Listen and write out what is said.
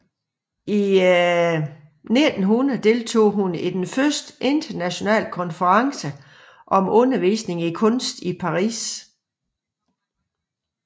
I 1900 deltog hun i den første internationale konference om undervisning i kunst i Paris